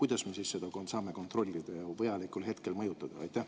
Kuidas me saame seda siis kontrollida ja vajalikul hetkel mõjutada?